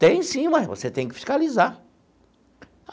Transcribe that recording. Tem sim, mas você tem que fiscalizar.